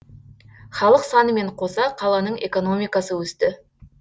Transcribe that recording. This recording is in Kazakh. халық санымен қоса қаланың экономикасы өсті